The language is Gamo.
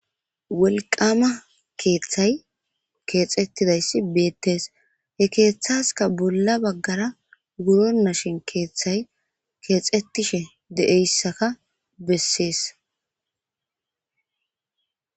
wolqama keeththay keexettidayssi beettees he keeththaska bolla baggara wuro nashin keeththay keexetishe deeyssaka bessees